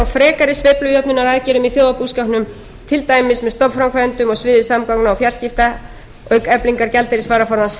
frekari sveiflujöfnunaraðgerðum í þjóðarbúskapnum til dæmis með stofnframkvæmdum á sviði samgangna og fjarskipta auk eflingar gjaldeyrisvaraforðans